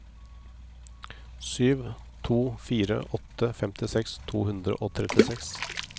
sju to fire åtte femtiseks to hundre og trettiseks